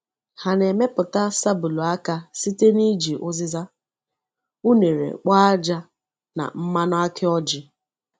Ha na-emepụta sabulu aka site n’iji uzizi unere kpọọ ájá na mmanụ aki ọjị.